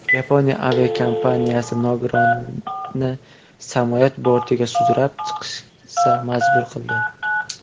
Yaponiya aviakompaniyasi nogironni samolyot bortiga sudralib chiqishga majbur qildi.